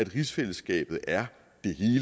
rigsfællesskabet er